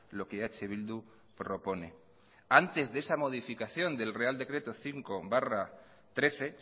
lo que eh bildu propone antes de esa modificación del real decreto cinco barra dos mil trece